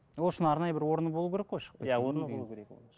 ол үшін арнайы бір орны болу керек қой